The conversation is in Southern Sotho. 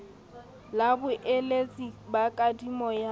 la boeletsi ba kadimo ya